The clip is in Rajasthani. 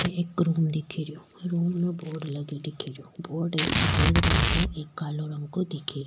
अठे एक रूम दिख रो रूम में बोर्ड लगो दिख रो बोर्ड एक सफ़ेद रंग के एक कालो रंग के दिख रो।